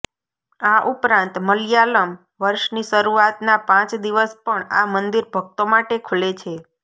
આ ઉપરાંત મલયાલમ વર્ષની શરૃઆતના પાંચ દિવસ પણ આ મંદિર ભક્તો માટે ખૂલે છે